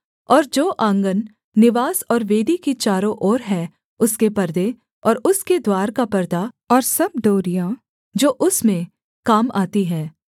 और जो आँगन निवास और वेदी की चारों ओर है उसके पर्दे और उसके द्वार का परदा और सब डोरियाँ जो उसमें काम आती हैं